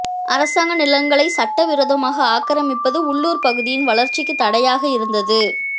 அரசாங்க நிலங்களை சட்டவிரோதமாக ஆக்கிரமிப்பது உள்ளூர் பகுதியின் வளர்ச்சிக்கு தடையாக இருந்தது